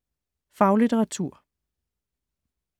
Faglitteratur